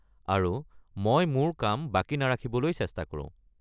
আৰু মই মোৰ কাম বাকী নাৰাখিবলৈ চেষ্টা কৰো।